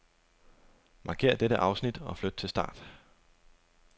Markér dette afsnit og flyt til start.